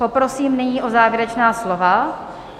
Poprosím nyní o závěrečná slova.